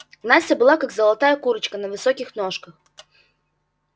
настя была как золотая курочка на высоких ножках